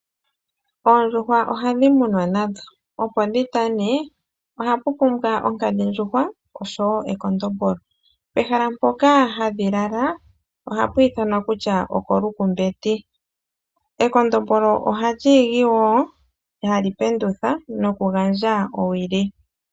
Oondjuhwa ohadhi munwa opo dhitane ohapu pumbwa onkadhindjuhwa nekondombolo. Pehala mpoka hadhi lala ohapa ithanwa kutya okoshikuku. Ekondombolo ohali igi, etali pendutha nokugandja owili.